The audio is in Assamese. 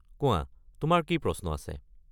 কোৱা, তোমাৰ কি প্ৰশ্ন আছে?